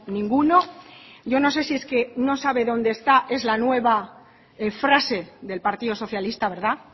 ninguno yo no sé si es que no sabe dónde está es la nueva frase del partido socialista verdad